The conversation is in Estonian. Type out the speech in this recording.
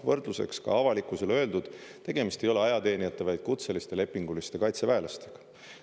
Võrdluseks, ka avalikkusele öeldud, tegemist ei ole ajateenijate, vaid kutseliste lepinguliste kaitseväelastega.